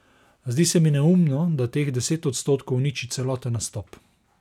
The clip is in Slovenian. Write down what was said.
Zdi se mi neumno, da teh deset odstotkov uniči celoten nastop.